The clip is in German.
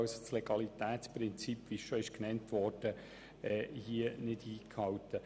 Wie bereits erwähnt, würde das Legalitätsprinzip nicht eingehalten.